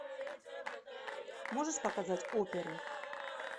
можешь показать оперу